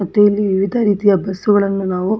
ಮತ್ತು ಇಲ್ಲಿ ವಿವಿಧ ರೀತಿಯ ಬಸ್ ಗಳನ್ನು --